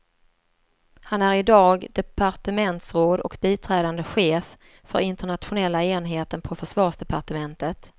Han är idag departementsråd och biträdande chef för internationella enheten på försvarsdepartementet.